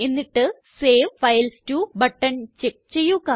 എന്നിട്ട് save files to button check ചെയ്യുക